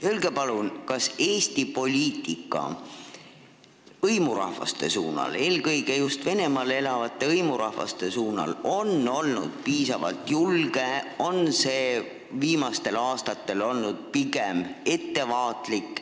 Öelge palun, kas Eesti poliitika hõimurahvaste suunal – eelkõige Venemaal elavate hõimurahvaste suunal – on viimastel aastatel olnud piisavalt julge või pigem ettevaatlik.